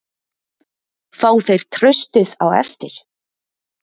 Fá þeir traustið á eftir?